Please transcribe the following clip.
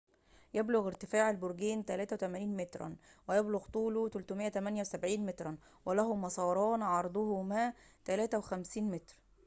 يبلغ ارتفاع البرجين 83 متراً ويبلغ طوله 378 متراً وله مساران عرضهما 3.50 متراً